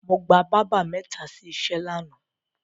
Mo gba bábà mẹ́ta sí iṣẹ́ lánàá.